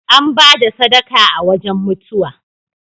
An ba da sadaka a wajan mutuwa.